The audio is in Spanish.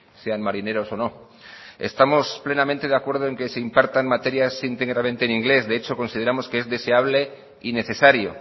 sean marineros o no estamos plenamente de acuerdo en que se impartan materias íntegramente en inglés de hecho consideramos que es deseable y necesario